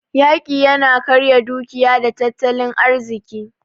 Yaƙi yana karya dukiya da tattalin arziki.